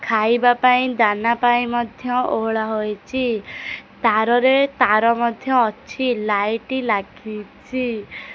ଖାଇବା ପାଇଁ ଦାନା ପାଇଁ ମଧ୍ୟ ଓହଳା ହୋଇଚି ତାର ରେ ତାର ମଧ୍ୟ ଅଛି ଲାଇଟ୍ ଲାଗିଚି।